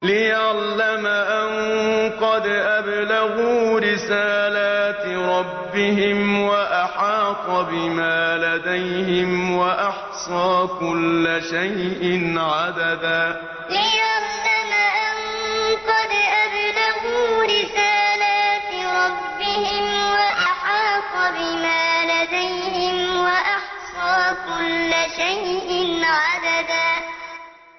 لِّيَعْلَمَ أَن قَدْ أَبْلَغُوا رِسَالَاتِ رَبِّهِمْ وَأَحَاطَ بِمَا لَدَيْهِمْ وَأَحْصَىٰ كُلَّ شَيْءٍ عَدَدًا لِّيَعْلَمَ أَن قَدْ أَبْلَغُوا رِسَالَاتِ رَبِّهِمْ وَأَحَاطَ بِمَا لَدَيْهِمْ وَأَحْصَىٰ كُلَّ شَيْءٍ عَدَدًا